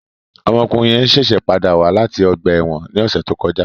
Ọmọkunrin yẹn ṣẹṣẹ pada wa lati ọgba ẹ́wọ̀n ni ọsẹ to kọja